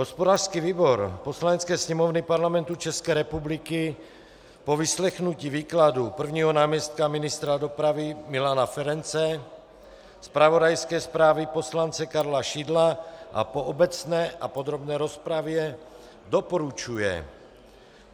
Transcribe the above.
Hospodářský výbor Poslanecké sněmovny Parlamentu České republiky po vyslechnutí výkladu prvního náměstka ministra dopravy Milana Ferance, zpravodajské zprávy poslance Karla Šidla a po obecné a podrobné rozpravě doporučuje